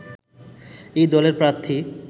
এই দলের প্রার্থী